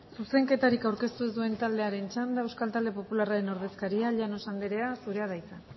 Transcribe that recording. zuzenketarik aurkeztu ez duen taldearen txanda euskal talde popularraren ordezkaria llanos andrea zurea da hitza